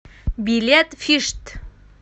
билет фишт